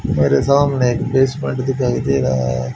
मेरे सामने एक बेसमेंट दिखाई दे रहा है।